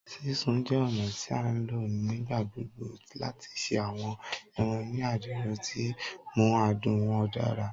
Sisun jẹ ọna ti a nlo nigbagbogbo lati ṣe awọn ẹran ni adiro, ti nmu adun wọn dara